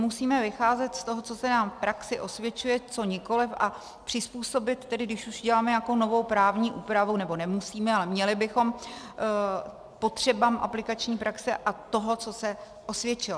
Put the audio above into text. Musíme vycházet z toho, co se nám v praxi osvědčuje, co nikoliv, a přizpůsobit tedy, když už děláme nějakou novou právní úpravu - nebo nemusíme, ale měli bychom -, potřebám aplikační praxe a toho, co se osvědčilo.